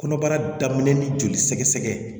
Kɔnɔbara daminɛ ni joli sɛgɛsɛgɛ